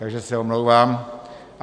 Takže se omlouvám.